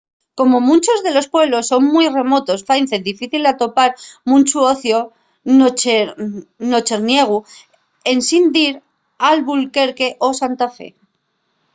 como munchos de los pueblos son mui remotos faise difícil atopar munchu ociu nocherniegu ensin dir a albuquerque o santa fe